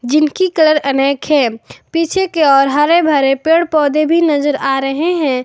जिनकी कलर अनेक है पीछे के ओर हरे भरे पेड़ पौधे भी नजर आ रहे हैं।